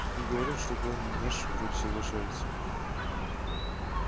и говорят что главный наш вроде соглашается